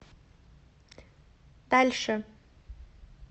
дальше